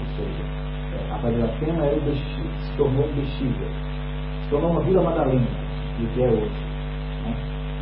Ou seja, eh, a Praia de Iracema era o bixi, se tornou um Bixiga, se tornou uma Vila Madalena, do que é hoje, né.